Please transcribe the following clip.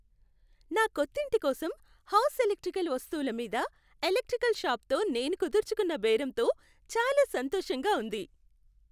నా కొత్తింటి కోసం హౌస్ ఎలక్ట్రికల్ వస్తువుల మీద ఎలక్ట్రికల్ షాపుతో నేను కుదుర్చుకున్న బేరంతో చాలా సంతోషంగా ఉంది.